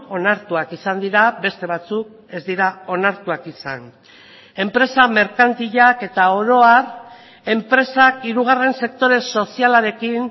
onartuak izan dira beste batzuk ez dira onartuak izan enpresa merkantilak eta oro har enpresak hirugarren sektore sozialarekin